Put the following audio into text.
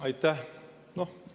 Aitäh!